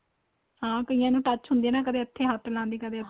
ਹਾਂ ਕਈਆਂ ਨੂੰ touch ਹੁੰਦੀ ਏ ਕਦੇਂ ਇੱਥੇ ਹੱਥ ਲਾਉਣ ਦੀ ਕਦੇਂ